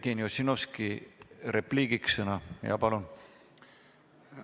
Jevgeni Ossinovski, repliigiks sõna, palun!